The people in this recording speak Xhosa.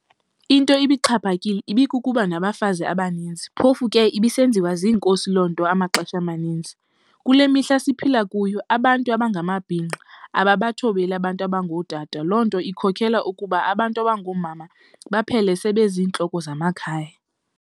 Into ibixhaphakile ibikukubanabafazi abaninzi phofu ke ibisenziwa ziinkosi lonto amaxesha amaninzi. Kule mihla siphila kuyo abantu abangamabhinqa ababathobeli abantu abangotata lonto ikhokhela ukuba abantu abangoomama baphele sele benzintloko zamakhaya.'